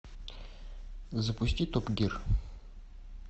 запусти топ гир